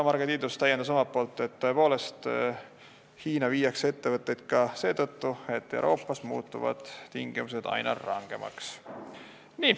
Marge Tiidus täiendas omalt poolt, et ettevõtteid viiakse Hiina ka seetõttu, et Euroopas muutuvad tingimused aina rangemaks.